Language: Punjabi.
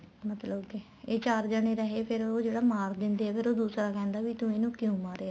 ਮਤਲਬ ਕੇ ਏ ਚਾਰ ਜਾਣੇ ਰਹੇ ਫ਼ਿਰ ਉਹ ਜਿਹੜਾ ਮਾਰ ਦਿੰਦੇ ਏ ਫ਼ਿਰ ਉਹ ਦੂਸਰਾ ਕਹਿੰਦਾ ਵੀ ਤੂੰ ਇਹਨੂੰ ਕਿਉਂ ਮਾਰਿਆ